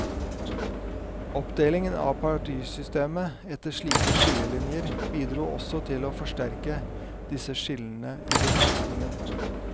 Oppdelingen av partisystemet etter slike skillelinjer bidro også til å forsterke disse skillene i befolkningen.